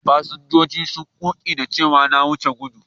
Fasinjojin sun koƙa da cewa na wuce gudu.